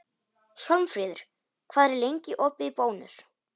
Hjálmfríður, hvað er lengi opið í Bónus?